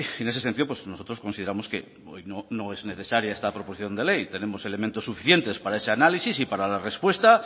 en ese sentido nosotros consideramos que no es necesaria esta proposición no de ley tenemos elementos suficientes para ese análisis y para la respuesta